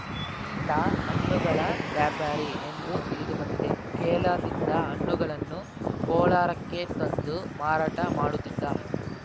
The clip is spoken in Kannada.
ಈತ ಹಣ್ಣುಗಳ ವ್ಯಾಪಾರಿ ಎಂದು ತಿಳಿದು ಬಂದಿದೆ ಕೇರಳದಿಂದ ಹಣ್ಣುಗಳನ್ನು ಕೋಲಾರಕ್ಕೆ ತಂದು ಮಾರಾಟ ಮಾಡುತ್ತಿದ್ದ